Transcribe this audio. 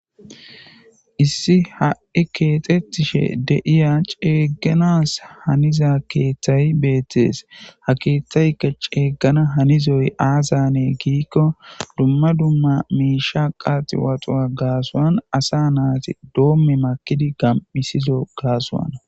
Issi ha7i keexettishe deiya ceegganas haniza keeththayi beettes ha keeththaykka ceeggana hanizoy aasane giikko dumma dumma miisha qaaxi waxuwa gaasuan asa naati doomme makidi gam7isizo gaasoana